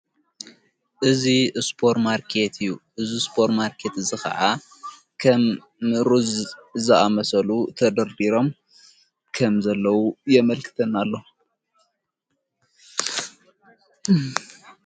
እዙ እስጶር ማርከት እዩ እዝ ስጶር ማርከት ዝኸዓ ኸም ንሩዝ ዝኣመሰሉ ተደርዲሮም ከም ዘለዉ የመልክትና ኣሎ።